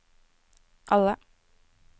alle